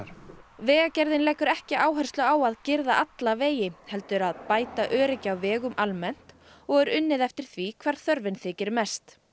vegagerðin leggur ekki áherslu á að girða alla vegi heldur að bæta öryggi á vegum almennt og er unnið eftir því hvar þörfin þykir mest